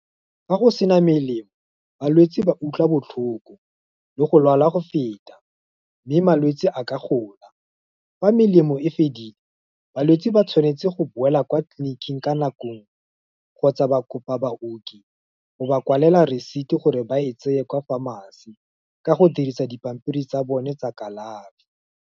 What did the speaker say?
Fa go sena melemo, balwetse ba utlwa botlhoko, le go lwala go feta, mme malwetse a ka gola, fa melemo e fedile, balwetse ba tshwanetse go boela kwa tleliniking ka nakong, kgotsa ba kopa baoki, go ba kwalela receipt gore ba e tseye kwa pharmacy, ka go dirisa dipampiri tsa bone tsa kalafi.